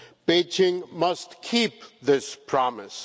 Beijing must keep this promise.